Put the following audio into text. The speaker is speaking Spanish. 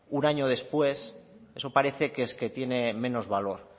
un año después eso parece que es que tiene menos valor